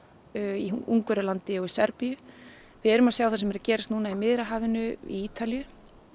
í Ungverjalandi og Serbíu við erum að sjá það sem er að gerast núna við Miðjarðarhafið í Ítalíu